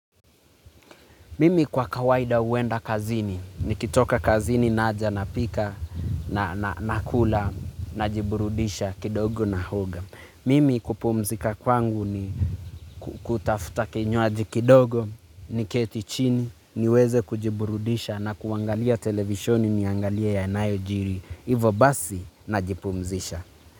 Mimi kwa kawaida uenda kazini, nikitoka kazini naja napika na nakula najiburudisha kidogo nahoga. Mimi kupumzika kwangu ni kutafuta kinywaji kidogo, niketi chini, niweze kujiburudisha na kuangalia televishoni niangalie yanayojiri. Hivo basi najipumzisha.